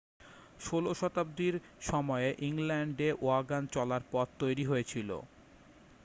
16 শতাব্দীর সময়েই ইংল্যান্ডে ওয়াগন চলার পথ তৈরি হয়েছিল